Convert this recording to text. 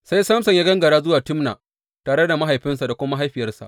Sai Samson ya gangara zuwa Timna tare da mahaifinsa da kuma mahaifiyarsa.